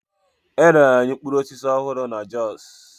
E rere anyị mkpụrụ osisi ọhụrụ na Jos.